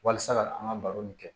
Walasa ka an ka baro nin kɛ